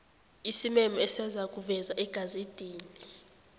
isimemo esizakuvezwa egazedini